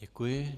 Děkuji.